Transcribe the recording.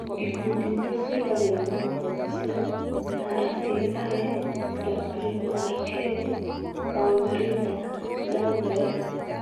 Ikundi iria ciĩkagĩra mawatho macio: RTI, WERK, Worldreader, Dalberg-